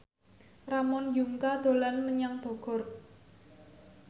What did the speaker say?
Ramon Yungka dolan menyang Bogor